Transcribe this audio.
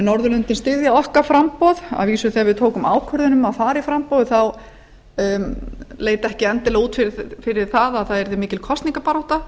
norðurlöndin styðja okkar framboð að vísu þegar við tókum ákvörðun um að fara í framboðið leit ekki endilega út fyrir það að það yrði mikil kosningabarátta